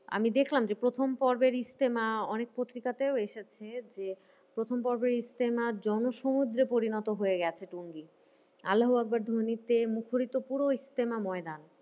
আমি দেখলাম যে, প্রথম পর্বের ইস্তেমা অনেক পত্রিকাতেও এসেছে যে, প্রথম পর্বের ইস্তেমা জনসমুদ্রে পরিণত হয়েগেছে। আল্লা হুয়াকবার ধ্বনিতে মুখোরিত পুরো ইস্তেমা ময়দান।